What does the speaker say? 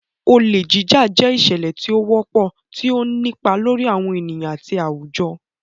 Olè Jíjà jẹ́ ìṣẹ̀lẹ̀ tí ó wọ́pọ̀, tí ó ń nípa lórí àwọn ènìyàn àti àwùjọ.